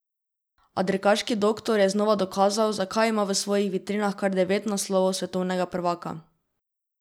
A dirkaški doktor je znova dokazal, zakaj ima v svojih vitrinah kar devet naslovov svetovnega prvaka.